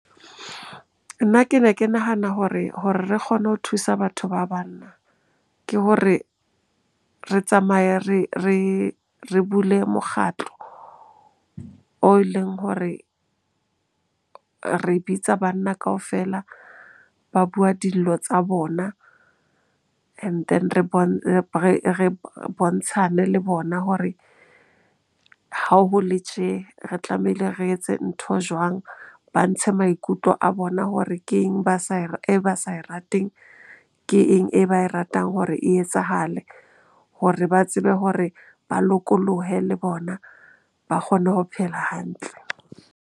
Nna ke ne ke nahana hore re kgone ho thusa batho ba banna, ke hore re tsamaye re bule mokgatlo o e leng hore re bitsa banna kaofela ba bua dillo tsa bona and then re bontshe re bontshane le bona hore ha ho le tje, re tlamehile re etse ntho jwang? Ba ntshe maikutlo a bona hore ke eng e ba sa e rateng? Ke eng e ba e ratang hore e etsahale? Hore ba tsebe hore ba lokolohe le bona ba kgone ho phela hantle.